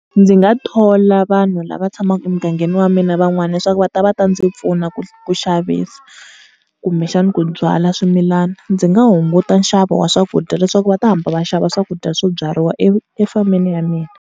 Ndzi nga thola vanhu lava tshamaka emugangeni wa mina van'wana leswaku va ta va ta ndzi pfuna ku ku xavisa kumbexani ku byala swimilana. Ndzi nga hunguta nxavo wa swakudya leswaku va ta hamba va xava swakudya swo byariwa efameni ya mina.